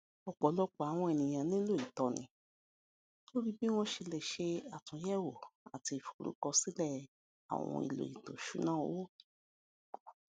ọpọlọpọ àwọn ènìyàn nílò ìtọni lórí bí wọn ṣe lè ṣe àtúnyẹwò àti ìforúkọsílẹ àwọn ohun èlò ètò ìṣúnná owó